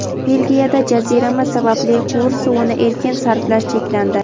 Belgiyada jazirama sababli quvur suvini erkin sarflash cheklandi.